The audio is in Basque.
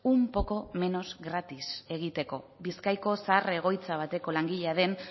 un poco menos gratis egiteko bizkaiko zahar egoitza bateko langilea den